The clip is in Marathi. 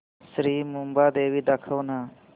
श्री मुंबादेवी दाखव ना